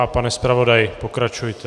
A pane zpravodaji, pokračujte.